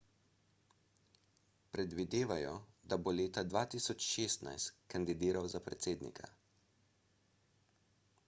predvidevajo da bo leta 2016 kandidiral za predsednika